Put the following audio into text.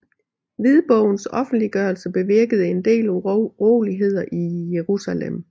Hvidbogens offentliggørelse bevirkede en del uroligheder i Jerusalem